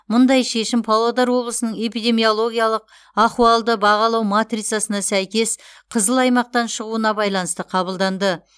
мұндай шешім павлодар облысының эпидемиологиялық ахуалды бағалау матрицасына сәйкес қызыл аймақтан шығуына байланысты қабылданды